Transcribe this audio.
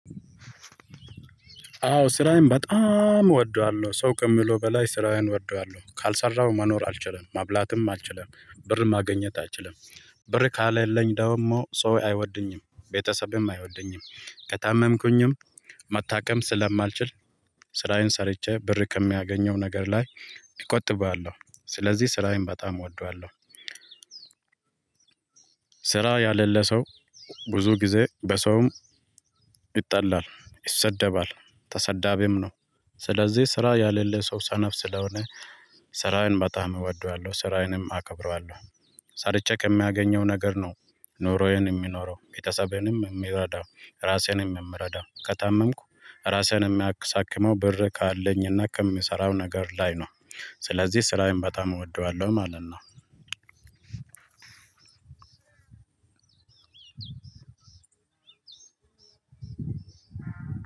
አዎ ስራዬን በጣም እወደዋለሁ። ሰው ከሚለው በላይ ስራዬን እወደዋለሁ። ካልሰራሁ መኖር አልችልም። መብላትም አልችልም። ብር ማገኘት አልችልም። ብር ከለለኝ ደግሞ ሰው አይወድኝም። ቤተሰብም አይወዱኝም። ከታመምኩኝም መታከም ስለማልችል፤ ስራዬን ሰርቼ ብር ከሚያገኘው ነገር ላይ እቆጥበዋለሁ። ስለዚህ ስራዬን በጣም እወደዋለሁ። ስራ ያለለ ሰው ብዙ ጊዜ በሰውም፤ ይጠላል፤ ይሰደባል፤ ተሰዳቢም ነው። ስለዚህ ስራ ያለለው ሰው ሰነፍ ስለሆነ፤ ስራዬን በጣም እወደዋለሁ። ስራዬንም አከብረዋለሁ። ሳርቼ ከሚያገኘው ነገር ነው ኑሮዬን የሚኖረው። ቤተሰቤንም የምረዳው። ራሴንም የምረዳው። ከታመምኩ ራሴንም የሚያክሳክመው ብር ካለኝና ከምሰራው ነገር ላይ ነው። ስለዚህ ስራዬን በጣም እወደዋለሁ ማለት ነው።